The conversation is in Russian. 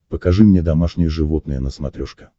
покажи мне домашние животные на смотрешке